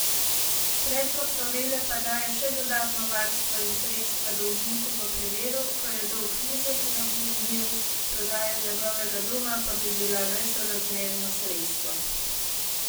Predlog novele pa daje še dodatno varstvo in sredstva dolžniku v primeru, ko je dolg nizek in obvladljiv, prodaja njegovega doma pa bi bila nesorazmerno sredstvo.